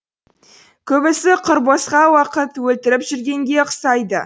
көбісі құр босқа уақыт өлтіріп жүргенге ұқсайды